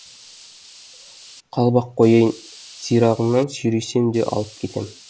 қалып ақ қояйын сирағыңнан сүйресем де алып кетем